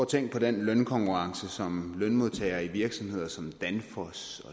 tænke på den lønkonkurrence som lønmodtagere i virksomheder som danfoss og